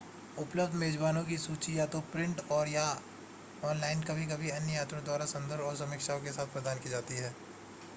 उपलब्ध मेज़बानों की सूची या तो प्रिंट और/या ऑनलाइन कभी-कभी अन्य यात्रियों द्वारा संदर्भ और समीक्षाओं के साथ प्रदान की जाती है